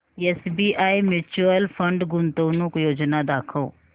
SBI mutual fund गुंतवणूक योजना दाखव